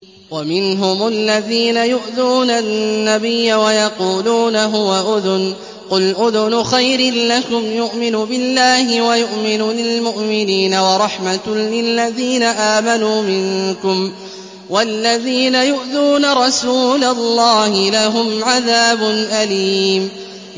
وَمِنْهُمُ الَّذِينَ يُؤْذُونَ النَّبِيَّ وَيَقُولُونَ هُوَ أُذُنٌ ۚ قُلْ أُذُنُ خَيْرٍ لَّكُمْ يُؤْمِنُ بِاللَّهِ وَيُؤْمِنُ لِلْمُؤْمِنِينَ وَرَحْمَةٌ لِّلَّذِينَ آمَنُوا مِنكُمْ ۚ وَالَّذِينَ يُؤْذُونَ رَسُولَ اللَّهِ لَهُمْ عَذَابٌ أَلِيمٌ